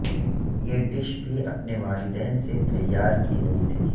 یہ ڈش بھی اپنے والدین سے تیار کی گئی تھی